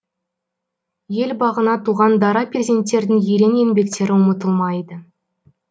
ел бағына туған дара перзенттердің ерен еңбектері ұмытылмайды